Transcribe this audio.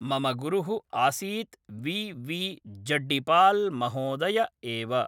मम गुरुः आसीत् वि वी जड्डिपाल् महोदय एव